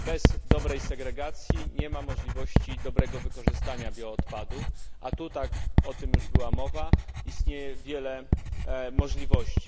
Bez dobrej segregacji nie ma możliwości dobrego wykorzystania bioodpadów, a tu o tym już była mowa istnieje wiele możliwości.